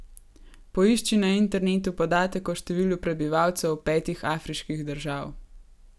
Poišči na internetu podatek o številu prebivalcev petih Afriških držav.